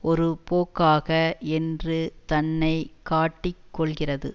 ஒரு போக்காக என்று தன்னை காட்டிக் கொள்ளுகிறது